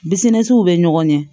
Bisiminw bɛ ɲɔgɔn ɲɛ